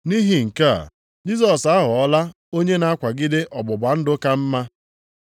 Nʼihi nke a, Jisọs aghọọla onye na-akwagide ọgbụgba ndụ ka mma.